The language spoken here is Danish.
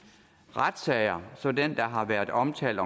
retssager som den der har været omtalt